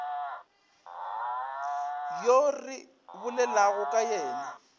yo re bolelago ka yena